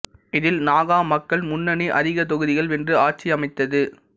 இதில் நாகா மக்கள் முன்னனி அதிக தொகுதிகள் வென்று ஆட்சியமைத்தது